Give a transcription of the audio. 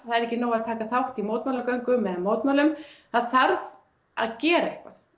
er ekki nóg að taka þátt í mótmælagöngum eða mótmælum það þarf að gera eitthvað